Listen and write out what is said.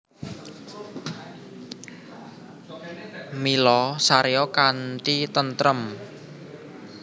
Mila saréya kanthi tentrem